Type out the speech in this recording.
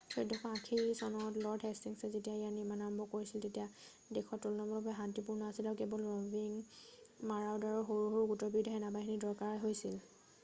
1480 চনত লৰ্ড হেষ্টিংছে যেতিয়া ইয়াৰ নিৰ্মাণ কাৰ্য আৰম্ভ কৰিছিল তেতিয়া দেশখন তুলনামূলকভাৱে শান্তিপূৰ্ণ আছিল আৰু কেৱল ৰ’ভিং মাৰাওডাৰৰ সৰু সৰু গোটৰ বিৰুদ্ধেহে সেনেবাহিনীৰ দৰকাৰ হৈছিল।